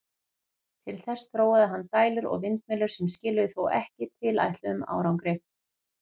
Til þess þróaði hann dælur og vindmyllur, sem skiluðu þó ekki tilætluðum árangri.